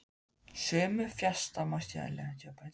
Sumir fastafjármunir rýrna í verði vegna aldurs og slits.